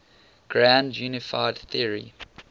grand unified theory